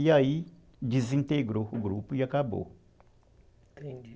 E aí desintegrou o grupo e acabou.